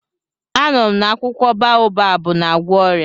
Anụrụ m na akwụkwọ baobabu na-agwọ ọrịa.